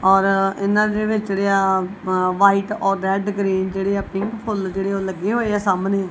ਔਰ ਇਹਨਾਂ ਦੇ ਵਿੱਚ ਜੇਹੜੇਆ ਵ੍ਹਾਈਟ ਔਰ ਰੈੱਡ ਗ੍ਰੀਨ ਜੇਹੜੇਆ ਪਿੰਕ ਫੁੱਲ ਜੇਹੜੇ ਓਹ ਲੱਗੇ ਹੋਏਆ ਸਾਹਮਣੇ।